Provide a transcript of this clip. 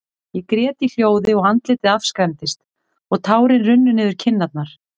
Ég grét í hljóði, og andlitið afskræmdist, og tárin runnu niður kinnarnar.